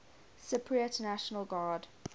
cypriot national guard